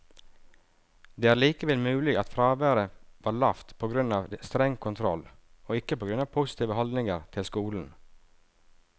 Det er likevel mulig at fraværet var lavt på grunn av streng kontroll, og ikke på grunn av positive holdninger til skolen.